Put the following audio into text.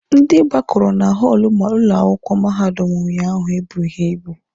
Ndị gbakọrọ na họọlụ ụlọ akwụkwọ mahadum unyaahụ ebughi ibu.